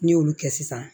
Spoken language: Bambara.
N'i y'olu kɛ sisan